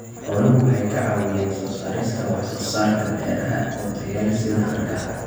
Xooluhu waxay ka caawiyaan soo saarista wax soo saarka beeraha oo tayo leh sida hargaha.